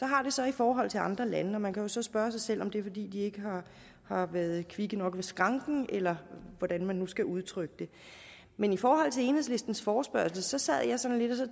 har det så i forhold til andre lande og man kan jo så spørge sig selv om det er fordi de ikke har været kvikke nok ved skranken eller hvordan man nu skal udtrykke det men i forhold til enhedslistens forespørgsel sad jeg sådan lidt og